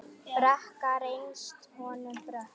Brekka reynst honum brött.